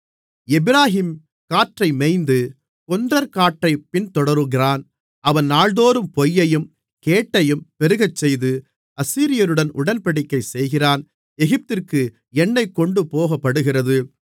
எப்பிராயீம் காற்றை மேய்ந்து கொண்டற்காற்றைப் பின்தொடருகிறான் அவன் நாள்தோறும் பொய்யையும் கேட்டையும் பெருக்கச்செய்து அசீரியருடன் உடன்படிக்கை செய்கிறான் எகிப்திற்கு எண்ணெய் கொண்டுபோகப்படுகிறது